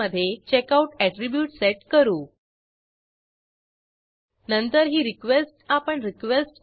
येथे book id साठी books टेबलमधून टोटलकॉपीज आणि अवेलेबल कॉपीज सिलेक्ट करू